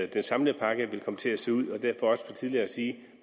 den samlede pakke vil komme til at se ud og derfor også for tidligt at sige